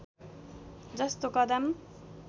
जस्तो कदम